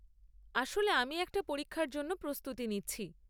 আসলে আমি একটা পরীক্ষার জন্য প্রস্তুতি নিচ্ছি।